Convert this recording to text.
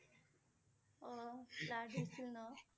অ' flood আছিল ন